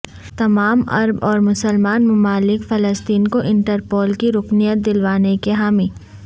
تمام عرب اور مسلمان ممالک فلسطین کو انٹرپول کی رکنیت دلوانے کے حامی